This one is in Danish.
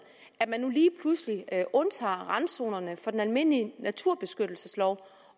at undtager randzonerne fra den almindelige naturbeskyttelseslov